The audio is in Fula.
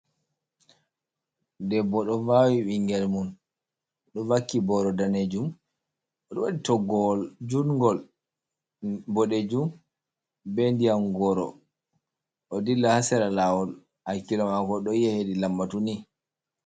Debbo ɗo vaawi ɓingel mum, ɗo vakki booro daneejum. Oɗo waɗi toggowol jungol boɗejum, be ndiƴam goro. Oɗo dilla haa sera laawol, hakkilo maako ɗo yi'a heedi lambatu nii.